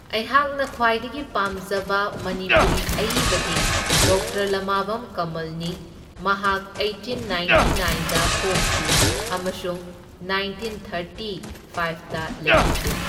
ꯑꯩꯍꯥꯛꯅ ꯈ꯭ꯋꯥꯏꯗꯒꯤ ꯄꯥꯝꯖꯕ ꯃꯅꯤꯄꯨꯔꯤ ꯑꯏꯕꯗꯤ ꯗꯣꯛꯇꯔ ꯂꯃꯥꯕꯝ ꯀꯃꯜꯅꯤ, ꯃꯍꯥꯛ ꯑꯩꯇꯤꯟ ꯅꯥꯏꯟꯇꯤ ꯅꯥꯏꯟꯗ ꯄꯣꯛꯈꯤ ꯑꯃꯁꯨꯡ ꯅꯥꯏꯟꯇꯤꯟ ꯊꯥꯔꯇꯤ ꯐꯥꯏꯞꯇ ꯂꯩꯈꯤꯗꯦ꯫